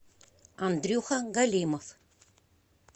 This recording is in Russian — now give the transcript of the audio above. андрюха галимов